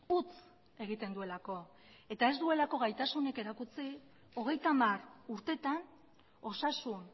utz egiten duelako eta ez duelako gaitasunik erakutsi hogeita hamar urteetan osasun